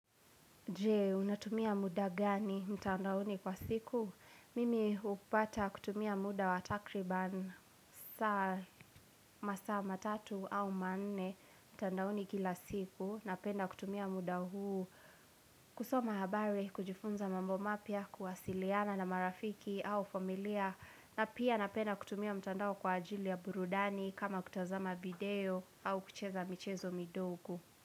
Jee, unatumia muda gani mtandaoni kwa siku? Mimi upata kutumia muda wa takriban saa masaa matatu au manne mtandaoni kila siku Napenda kutumia muda huu kusoma habari kujifunza mambo mapya kuwasiliana na marafiki au familia na pia napenda kutumia mtandao kwa ajili ya burudani kama kutazama video au kucheza michezo midogo.